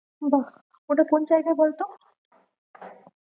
বাহ্ ওটা কোন জায়গায় বলতো?